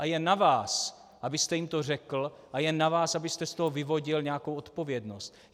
A je na vás, abyste jim to řekl, a je na vás, abyste z toho vyvodil nějakou odpovědnost.